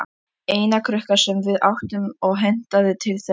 Eina krukkan sem við áttum og hentaði til þessara nota.